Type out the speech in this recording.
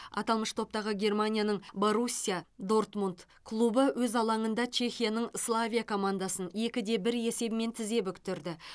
аталмыш топтағы германияның боруссия дортмунд клубы өз алаңында чехияның славия командасын екі де бір есебімен тізе бүктірді